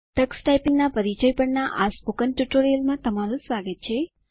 Tux ટાઈપીંગના પરિચય પરના સ્પોકન ટ્યુટોરીયલમાં તમારું સ્વાગત છે